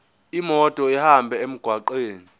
imoto ihambe emgwaqweni